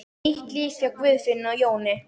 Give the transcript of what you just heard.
Nýtt líf hjá Guðfinnu og Jóni